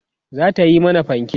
zata Yi mana fanke